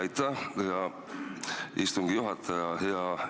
Aitäh, hea istungi juhataja!